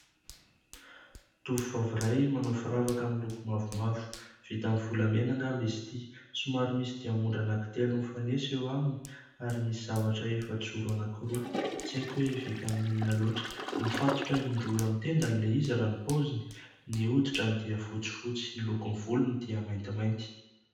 tofofavyray manao firavaka amin'ny lokomavomavo vita amin'ny volamena ngamba isytya so maromisy dia mondra nankitelo nyfanesa eo aminy ary misy zavatra efa toro anankiroa tsy aiko hoe vita amininonaloatra mifatotra indro eo amin'n- tendan' ilehizy ra nipaoziny ny oditra ny dia fotsy fotsy ny lokon-volony dia mainty mainty